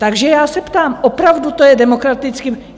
Takže já se ptám, opravdu to je demokratické?